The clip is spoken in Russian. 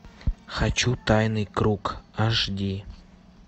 хочу тайный круг аш ди